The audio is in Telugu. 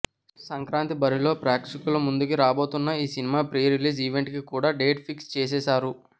సంక్రాంతి బరిలో ప్రేక్షకుల ముందుకి రాబోతున్న ఈ సినిమా ప్రీ రిలీజ్ ఈవెంట్ కి కూడా డేట్ ఫిక్స్ చేసేసారు